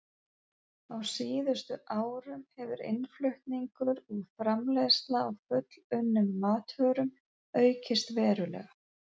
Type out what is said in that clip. Á síðustu árum hefur innflutningur og framleiðsla á fullunnum matvörum aukist verulega.